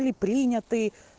были приняты